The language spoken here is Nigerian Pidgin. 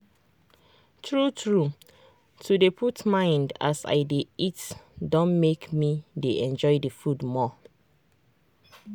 true true to dey put mind as i dey eat don make me dey enjoy the food more.